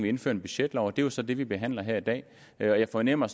indføre en budgetlov og det er jo så det vi behandler her i dag jeg fornemmer